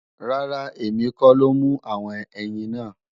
Rárá, èmi kọ́ ló mú àwọn ẹyin náà